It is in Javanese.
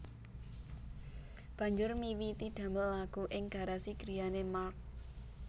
Banjur miwiti damel lagu ing garasi griyane Mark